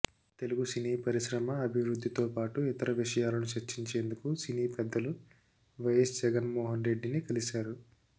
తెలుగు సినీ పరిశ్రమ అభివృద్ధితో పాటు ఇతర విషయాలను చర్చించేందుకు సినీ పెద్దలు వైఎస్ జగన్ మోహన్ రెడ్డిని కలిశారు